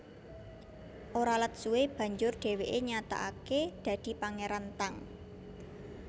Ora let suwé banjur dhèwèké nyatakaké dadi Pangéran Tang